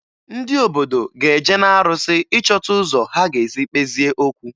Ndị obodo ga-eje n'arụsị ịchọta ụzọ ha ga-esi kpezie okwu